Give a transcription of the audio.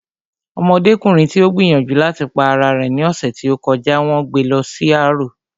Ọmọdékùnrin tí ó gbìyànjú láti pa ara rẹ̀ ní ọ̀sẹ̀ tí ó kọjá n wón gbé lọ sí arò